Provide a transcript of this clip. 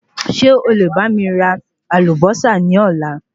Ṣé o lè bá mi ra Àlùbósà ni Ọ̀la?